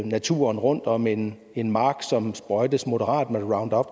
naturen rundt om en en mark som sprøjtes moderat med roundup